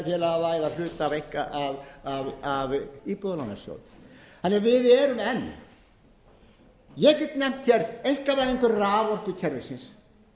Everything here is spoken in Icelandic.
hvort eigi að hlutafélagavæða hluta af íbúðalánasjóð þannig að við erum enn ég get nefnt einkavæðingu raforkukerfisins